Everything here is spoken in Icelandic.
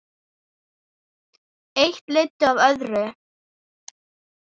Eitt leiddi af öðru.